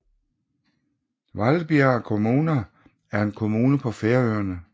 Hvalbiar kommuna er en kommune på Færøerne